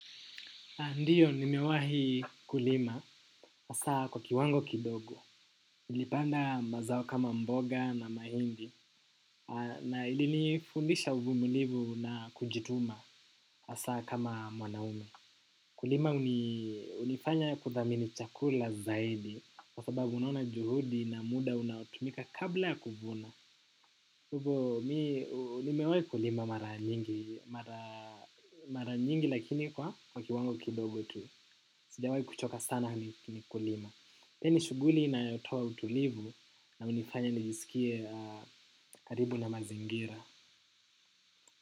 Ndiyo, nimewahi kulima, hasa kwa kiwango kidogo. Nilipanda mazao kama mboga na mahindi, na ilinifundisha uvumulivu na kujituma, hasa kama mwanaume. Kulima, hunifanya kuthamini chakula zaidi, kwa sababu unaona juhudi na muda unaotumika kabla ya kuvuna. Hivo, mi nimewahi kulima mara nyingi, lakini kwa kiwango kidogo tu. Sijawai kuchoka sana ni kulima. Pia ni shughuli inayotoa utulivu na hunifanya nijisikie karibu na mazingira.